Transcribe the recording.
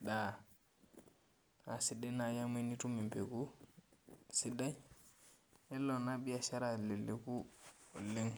daa, naa sidai naaji amu tenitum mpeku sidai, nelo ena biashara aleleku oleng.